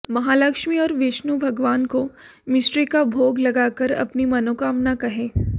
महालक्ष्मी और विष्णु भगवान को मिश्री का भोग लगाकर अपनी मनोकामना कहें